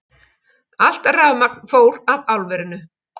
Allt rafmagn fór af álverinu